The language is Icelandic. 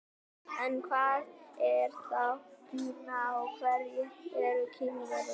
En hvað er þá Kína og hverjir eru Kínverjar?